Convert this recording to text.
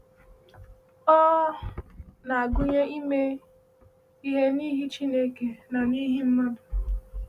Ọ na-agụnye ime ihe n’ihi Chineke na n’ihi mmadụ.